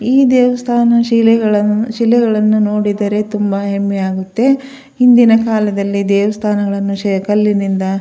ಈ ದೇವಸ್ಥಾನ ಶಿಲೆಗಳನ್ನು ಶಿಲೆಗಳನ್ನು ನೋಡಿದರೆ ತುಂಬಾ ಹೆಮ್ಮೆ ಆಗುತ್ತೆ ಹಿಂದಿನಕಾಲದಲ್ಲಿ ದೇವಸ್ಥಾನಗಳನ್ನುಸಹ ಕಲ್ಲಿನಿಂದ --